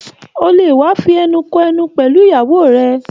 O le wa fí ẹnu kò ẹnu pẹlú ìyàwó rẹ!